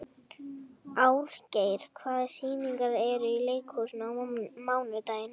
Árgeir, hvaða sýningar eru í leikhúsinu á mánudaginn?